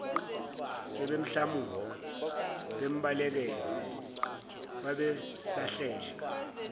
sebemhlamuka bembalekela babesahleka